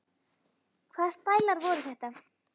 Hvaða stælar voru þetta?